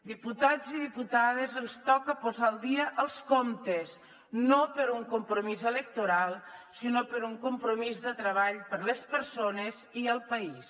diputats i diputades ens toca posar al dia els comptes no per un compromís electoral sinó per un compromís de treball per a les persones i el país